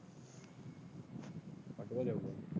ਕੱਢ ਤਾਂ ਜਾਊਗਾ।